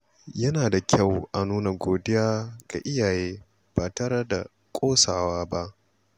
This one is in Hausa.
Yana da kyau a nuna godiya ga iyaye ba tare da ƙosawa ba.